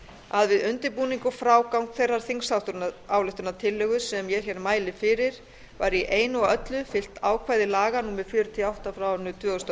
að við undirbúning og frágang þeirrar þingsályktunartillögu sem ég mæli fyrir var í einu og öllu fylgt ákvæði laga númer fjörutíu og átta tvö þúsund og